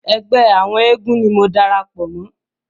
Ẹgbẹ́ àwọn eégún ni mo darapọ̀ mọ́.